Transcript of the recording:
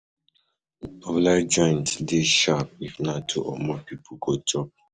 Popular joints de sharp if na two or more pipo go chop